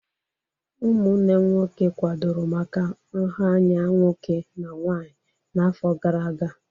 Ụmụnnem nwoke kwadoro maka nha anya nwoke na nwanyị n'afọ gara aga.